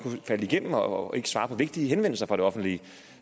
faldt igennem og fik ikke svaret på vigtige henvendelser fra det offentlige